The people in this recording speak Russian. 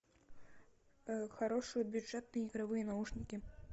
хорошие бюджетные игровые наушники